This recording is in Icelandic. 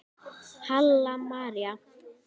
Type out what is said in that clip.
Halla María.